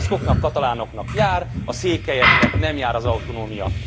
A baszkoknak, katalánoknak jár, a székelyeknek nem jár az autonómia.